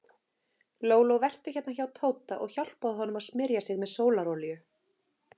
Lóló, vertu hérna hjá Tóta og hjálpaðu honum að smyrja sig með sólarolíu.